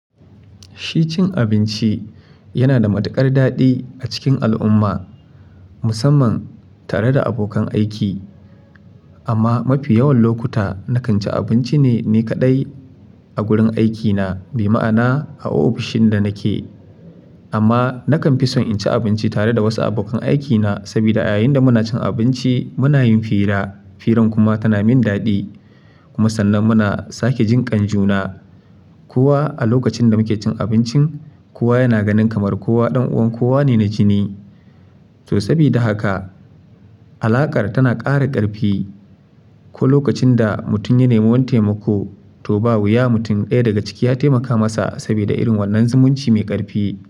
Shi cin abinci yana da matuƙar daɗi a cikin al'umma, musamman tare da abokan aiki. Amma mafi yawan lokuta nakan ci abinci ne kadai a wurin aikina, bi ma'ana a ofishin da nake. Amma nakan fi son in ci abinci tare da wasu abokan aikina, saboda a yayin da muna cin abinci muna yin fira, firan kuma tana min daɗi. Kuma sannan muna sake jin kan juna. Kowa a lokacin da muke cin abincin, kowa yana ganin kamar kowa ɗan uwan kowa ne na jini. To, sabida haka alaƙar tana ƙara ƙarfi. Ko lokacin da mutum ya nemi wani taimako, to, ba wuya mutum ɗaya daga ciki ya taimaka masa sabida irin wannan zumunci mai ƙarfi.